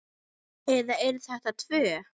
Eða eru þetta tvö?